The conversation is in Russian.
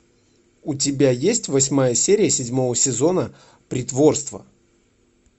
у тебя есть восьмая серия седьмого сезона притворство